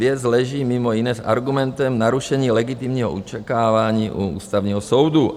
Věc leží mimo jiné s argumentem narušení legitimního očekávání u Ústavního soudu.